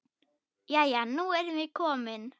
Jæja, nú erum við komin.